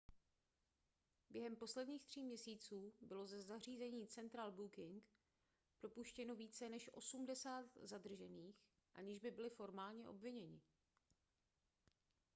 během posledních tří měsíců bylo ze zařízení central booking propuštěno více než 80 zadržených aniž by byli formálně obviněni